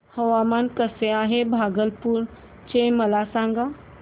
हवामान कसे आहे भागलपुर चे मला सांगा